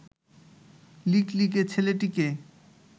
লিকলিকে ছেলেটিকে